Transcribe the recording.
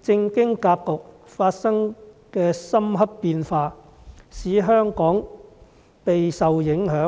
政經格局發生的深刻變化，使香港備受影響。